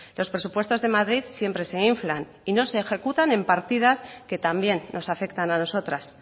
los presupuestos de madrid siempre se inflan y no se ejecutan en partidas que también nos afectan a nosotras